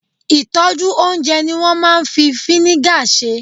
ìtọ́jú oúnjẹ ni wo maa n fi vinegar se